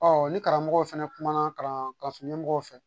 ni karamɔgɔw fɛnɛ kumana karama ka sun ɲɛmɔgɔw fɛ